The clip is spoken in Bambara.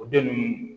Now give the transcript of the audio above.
O den nunnu